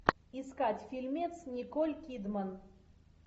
искать фильмец николь кидман